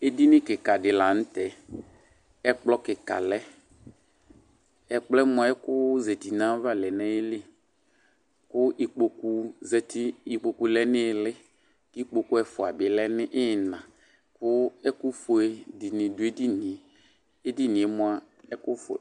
Edini kɩka dɩ la n'tɛ Ɛkplɔ kɩka lɛ Ɛkplɔ yɛ mua ɛkʋ zati n'ayava lɛ n'ayili, kʋ ikpokʋ zati, ikpoku lɛ n'iili, k'ikpoku ɛfua bɩ lɛ nʋ iina, kʋ ɛkʋ fue dɩnɩ dʋ edini yɛ, edini yɛ mua ɛkʋ fue